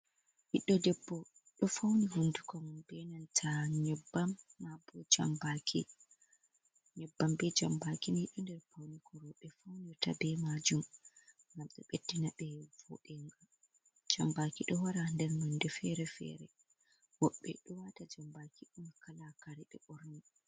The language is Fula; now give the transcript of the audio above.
Ɓiɗɗo debbo ɗo fauni hunduko mako , benanta nyebbam be jambaki, nyebbam ɓe jambaki ni do nder paunikoro be faunirta be majum ngam de beɗɗina jambaki ɗowara nder nonde fere-fere woɓɓe ɗo wata jambaki on kala kare ɓe ɓorni.